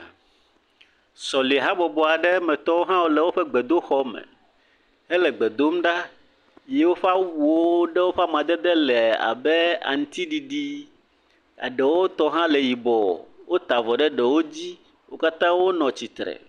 Sɔlihabɔbɔ ɖe metɔwo le woƒe gbedoxɔ me hele gbe dom ɖa, ye woƒe awuwo ɖewo ƒe amadedewo le abe aŋutiɖiɖi, eɖewo tɔ hã le yibɔ, wota avɔ ɖe ɖewo dzi, wo katã wonɔ tsitre.